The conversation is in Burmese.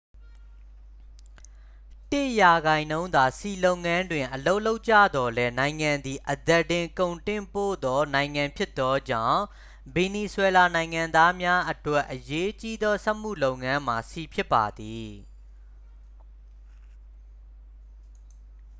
တစ်ရာခိုင်နှုန်းသာ ဆီလုပ်ငန်းတွင် အလုပ်လုပ်ကြသော်လည်း နိုင်ငံသည် အသားတင် ကုန်တင်ပို့သော နိုင်ငံဖြစ်သောကြောင့် ဗင်နီဇွဲလားနိုင်ငံသားများအတွက် အရေးကြီးသော စက်မှုလုပ်ငန်းမှာ ဆီဖြစ်ပါသည်